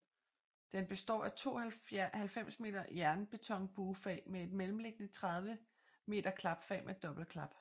Den består af to 90 m jernbetonbuefag med et mellemliggende 30 m klapfag med dobbeltklap